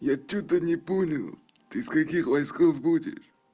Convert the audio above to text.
я что-то не понял ты с каких войсков будешь